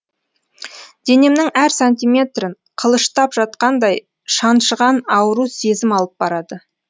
денемнің әр сантиметрін қылыштап жатқандай шаншыған ауру сезім алып барады